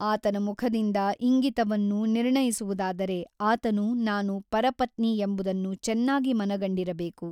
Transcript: ಆತನ ಮುಖದಿಂದ ಇಂಗಿತವನ್ನು ನಿರ್ಣಯಿಸುವುದಾದರೆ ಆತನು ನಾನು ಪರಪತ್ನಿ ಎಂಬುದನ್ನು ಚೆನ್ನಾಗಿ ಮನಗಂಡಿರಬೇಕು.